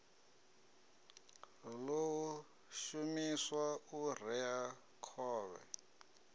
ḓo shumiswa u rea khovhe